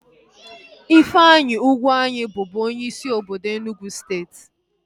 Ifeanyi Ugwuanyi bubu onyeisi obodo Enugwu steeti